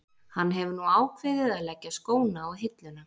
Hann hefur nú ákveðið að leggja skóna á hilluna.